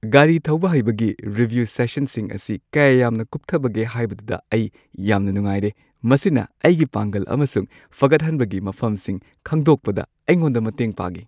ꯒꯥꯔꯤ ꯊꯧꯕ ꯍꯩꯕꯒꯤ ꯔꯤꯚ꯭ꯌꯨ ꯁꯦꯁꯟꯁꯤꯡ ꯑꯁꯤ ꯀꯌꯥ ꯌꯥꯝꯅ ꯀꯨꯞꯊꯕꯒꯦ ꯍꯥꯏꯕꯗꯨꯗ ꯑꯩ ꯌꯥꯝꯅ ꯅꯨꯡꯉꯥꯏꯔꯦ; ꯃꯁꯤꯅ ꯑꯩꯒꯤ ꯄꯥꯡꯒꯜ ꯑꯃꯁꯨꯡ ꯐꯒꯠꯍꯟꯕꯒꯤ ꯃꯐꯝꯁꯤꯡ ꯈꯪꯗꯣꯛꯄꯗ ꯑꯩꯉꯣꯟꯗ ꯃꯇꯦꯡ ꯄꯥꯡꯉꯤ꯫